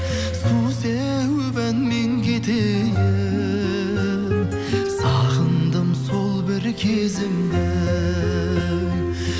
су сеуіп әнмен кетейін сағындым сол бір кезімді ей